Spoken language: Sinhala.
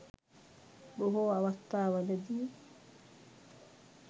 බොහෝ අවස්ථාවලදී